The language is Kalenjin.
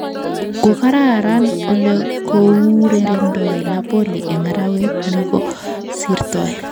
Kokararan ole kourerendoi Napoli eng arawet negosirtoi